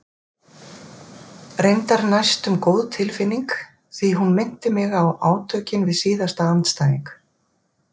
Reyndar næstum góð tilfinning því hún minnti mig á átökin við síðasta andstæðing.